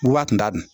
Kuwa kun t'a dun